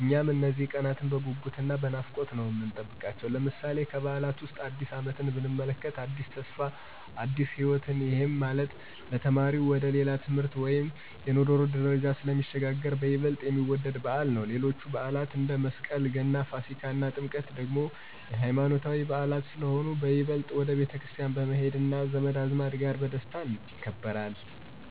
እኛም እነዚህን ቀናት በጉጉት እና በናፍቆት ነው የምንጠብቃቸው። ለምሳሌ፦ ከበዓላት ዉስጥ አዲስ አመትን ብንመለከት አዲስ ተስፋ እና አዲስ ህይወትን፤ ይሄም ማለት ለተማሪው ወደ ሌላ የትምህርት ወይም የኑሮ ደረጃ ስለሚሸጋገር በይበልጥ የሚወደድ በዓል ነው። ሌሎችም በዓላት አንደ፦ መስቀል፣ ገና፣ ፋሲካ እና ጥምቀት ደግሞ የሃይማኖታዊ በዓላት ስለሆኑ በይበልጥ ወደ ቤተክርስቲያን በመሄድ እና ዘመድ አዝማድ ጋር በደስታ ይከበራል።